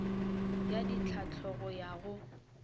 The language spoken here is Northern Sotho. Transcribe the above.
ya ditlhahlo go ya go